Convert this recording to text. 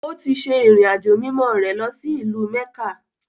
Ó ti se “ìrìn-àjò mimọ́” rẹ̀ lọsí ìlú-mẹ́kà.